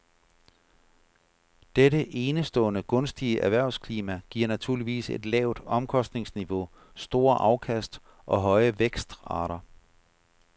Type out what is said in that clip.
Dette enestående gunstige erhvervsklima giver naturligvis et lavt omkostningsniveau, store afkast og høje vækstrater.